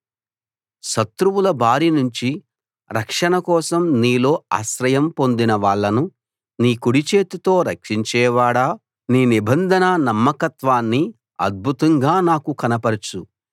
శత్రువుల బారి నుంచి రక్షణ కోసం నీలో ఆశ్రయం పొందిన వాళ్ళను నీ కుడిచేతితో రక్షించేవాడా నీ నిబంధన నమ్మకత్వాన్ని అద్భుతంగా నాకు కనపరుచు